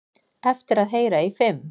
Eftir að heyra í fimm